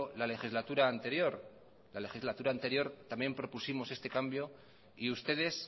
la legislatura anterior la legislatura anterior también propusimos este cambio y ustedes